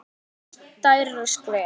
Skal taka stærra skref?